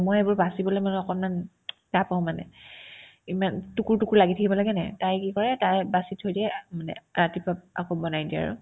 মই এইবোৰ বাচিবলে মানে অকনমান টান পাও মানে ইমান টুকুৰ টুকুৰ লাগি থাকিব লাগেনে নাই তাই কি কৰে তাই বাচি থৈ দিয়ে আ মানে ৰাতিপুৱা আকৌ বনাই দিয়ে আৰু